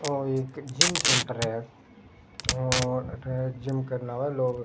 ओर एक gym centre है और अठे जिम करने वाले लोग --